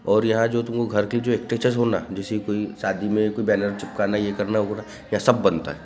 और यहाँ जो तुम घर की एक स्टैटस ना जैसा कोई शादी मे एक बैनर चिपकाना यह करना यहाँ सब बंनता है।